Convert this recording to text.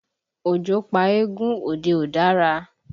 Ojo pa eégún, òde ò dára